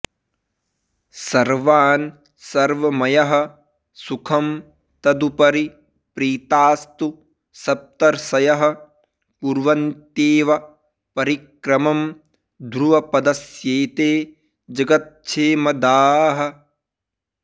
सर्वान् सर्वमयः सुखं तदुपरि प्रीतास्तु सप्तर्षयः कुर्वन्त्येव परिक्रमं ध्रुवपदस्यैते जगत्क्षेमदाः